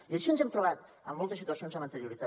i així ens hem trobat en moltes situacions amb anterioritat